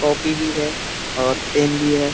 Copy भी है और पेन भी है।